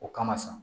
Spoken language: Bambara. O kama sa